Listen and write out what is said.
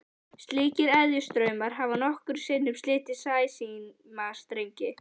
Slíkir eðjustraumar hafa nokkrum sinnum slitið sæsímastrengi.